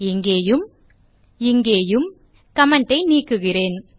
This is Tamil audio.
இங்கேயும் இங்கேயும் கமெண்ட் ஐ நீக்குகிறேன்